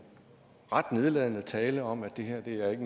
ret nedladende tale om at det her ikke